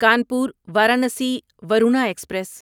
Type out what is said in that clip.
Kanpur Varanasi Varuna express